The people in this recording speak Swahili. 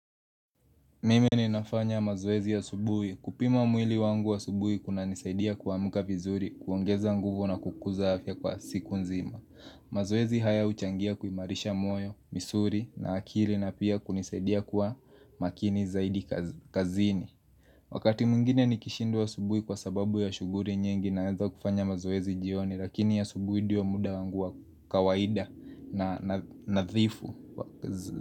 Mime ninafanya mazoezi asubuhi. Kupima mwili wangu asubui kuna nisaidia kuamuka vizuri, kuongeza nguvu na kukuza afya kwa siku nzima. Mazoezi haya huchangia kuimarisha moyo, misuri na akili na pia kunisaidia kuwa makini zaidi kazini. Wakati mwengine nikishindwa asubuhi kwa sababu ya shuguri nyingi naeza kufanya mazoezi jioni lakini ya asubuhi ndio muda wangu wa kawaida na nadhifu.